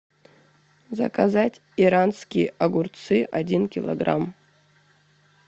заказать иранские огурцы один килограмм